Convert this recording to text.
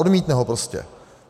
Odmítne ho prostě.